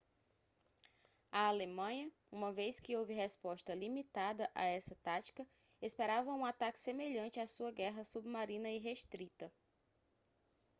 a alemanha uma vez que houve resposta limitada a essa tática esperava um ataque semelhante à sua guerra submarina irrestrita